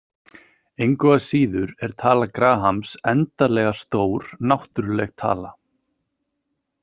Engu að síður er tala Grahams endanlega stór náttúrleg tala.